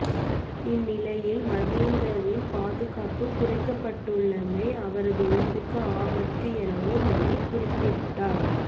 இந்நிலையில் மஹிந்தவின் பாதுகாப்பு குறைக்கப்டுள்ளமை அவரது உயிருக்கு ஆபத்து எனவும் அவர் குறிப்பிட்டார்